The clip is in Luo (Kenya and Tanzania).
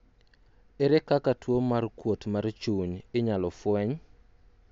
ere kaka tuo mar kuot mar chuny inyalo fweny?